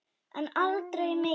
En aldrei mikið.